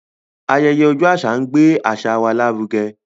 Ayẹyẹ ọjọ́ àṣà ń gbé àṣà wa lárugẹ.